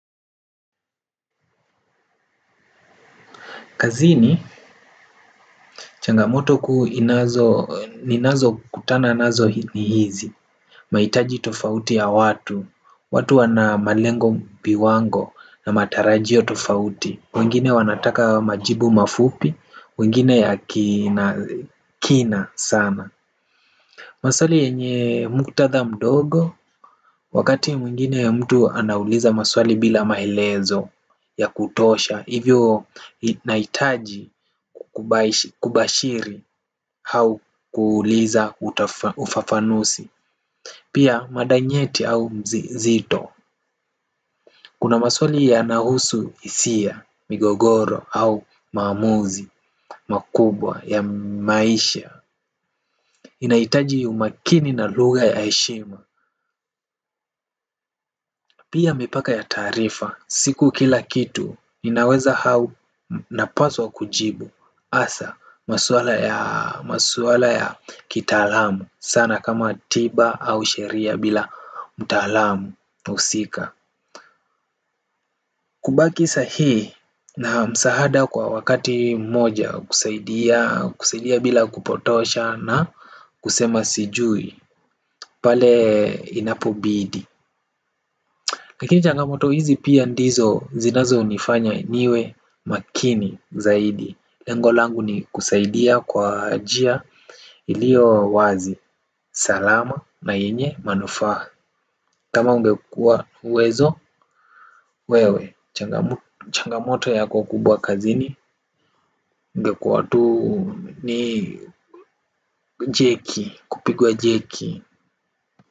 Kazini, changamoto kuu inazo, ninazo kutana nazo ni hizi. Mahitaji tofauti ya watu, watu wana malengo viwango na matarajio tofauti. Wengine wanataka majibu mafupi, wengine ya kina sana. Maswali yenye muktadha mdogo, wakati mwingine mtu anauliza maswali bila maelezo ya kutosha. Hivyo nahitaji kubashiri au kuuliza ufafanuzi. Pia mada nyeti au mzito. Kuna maswali yanahusu hisia, migogoro au maamuzi, makubwa ya maisha. Inahitaji umakini na lugha ya heshima. Pia mipaka ya taarifa. Siku kila kitu inaweza au napaswa kujibu hasa maswala ya kitaalamu sana kama tiba au sheria bila mtaalamu husika. Kubaki sahihi na msaada kwa wakati mmoja kusaidia kusaidia bila kupotosha na kusema sijui. Pale inapobidi lakini changamoto hizi pia ndizo zinazonifanya niwe makini zaidi. Lengolangu ni kusaidia kwa njia iliyo wazi salama na yenye manufaa. Kama ungekua uwezo, wewe, changamoto yako kubwa kazini, ungekuwa tu ni jeki, kupigwa jeki.